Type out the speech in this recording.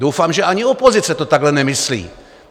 Doufám, že ani opozice to takhle nemyslí.